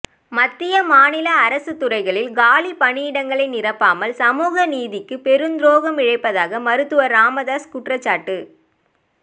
மத்திய மாநில அரசுத்துறைகளில் காலி பணியிடங்களை நிரப்பாமல் சமூகநீதிக்கு பெருந்துரோகம் இழைப்பதாக மருத்துவர் ராமதாஸ் குற்றச்சாட்டு